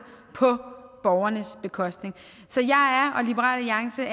på borgernes bekostning så liberal alliance og